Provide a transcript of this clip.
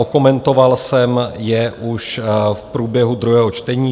Okomentoval jsem je už v průběhu druhého čtení.